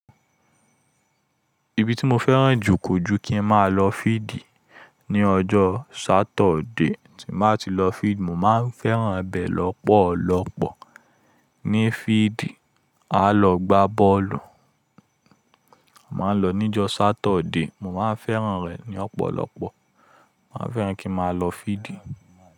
Ibi tí mo fẹ́ràn jù kọ̀jù kí n máa lọ fídì ní ọjọ́ Saturday. Tí màá ti lọ fíeld, mò máa ń fẹ́ràn bẹ̀ lọ́pọ̀lọ́pọ̀. Ní fíeld, á lọ gbá bọ́ọ̀lù. A máa ń lọ níjọ́ Saturday. Mo máa ń fẹ́ràn rẹ̀ ní ọ̀pọ̀lọpọ̀. Mo máa ń fẹ́ràn kí n máa lọ fídì.